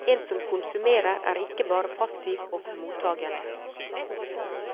En som konsumerer er ikke bare passiv og mottagende.